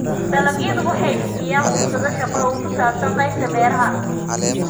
Dalagyadu waxay bixiyaan fursado shaqo oo ku saabsan qaybta beeraha.